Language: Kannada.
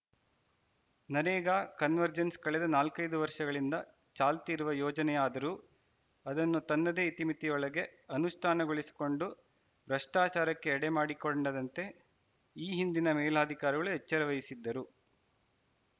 ನರೇಗಾ ಕನ್ವರ್ಜೆನ್ಸ್‌ ಕಳೆದ ನಾಲ್ಕೈದು ವರ್ಷಗಳಿಂದ ಚಾಲ್ತಿ ಇರುವ ಯೋಜನೆಯಾದರೂ ಅದನ್ನು ತನ್ನದೆ ಇತಿಮಿತಿಯೊಳಗೆ ಅನುಷ್ಠಾನಗೊಳಿಸಿಕೊಂಡು ಭ್ರಷ್ಟಾಚಾರಕ್ಕೆ ಎಡೆ ಮಾಡಿಕೊಂಡದಂತೆ ಈ ಹಿಂದಿನ ಮೇಲಾಧಿಕಾರಿಗಳು ಎಚ್ಚರ ವಹಿಸಿದ್ದರು